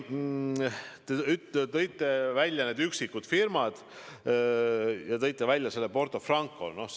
Te tõite välja üksikud firmad ja tõite välja Porto Franco.